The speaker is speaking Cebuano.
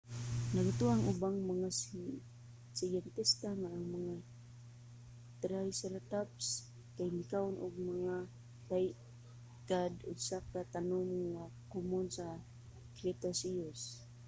nagatuo ang ubang mga siyentista nga ang mga triceratops kay mikaon og mga cycad usa ka tanom nga komon sa cretaceous